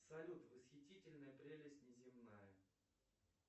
салют восхитительная прелесть неземная